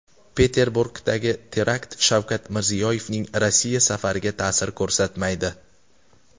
Peterburgdagi terakt Shavkat Mirziyoyevning Rossiya safariga ta’sir ko‘rsatmaydi .